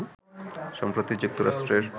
সম্প্রতি যুক্তরাষ্ট্রের